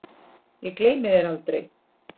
Ég gleymi þér aldrei.